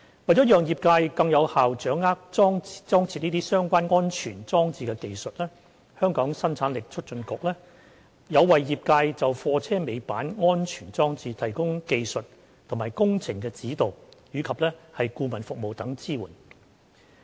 為了讓業界更有效掌握裝設相關安全裝置的技術，香港生產力促進局有為業界就貨車尾板安全裝置提供技術及工程指導及顧問服務等支援。